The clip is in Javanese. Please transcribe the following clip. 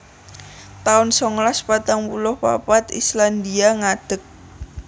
taun songolas patang puluh papat Republik Islandia ngadeg